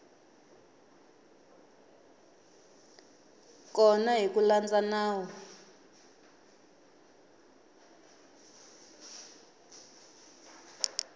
kona hi ku landza nawu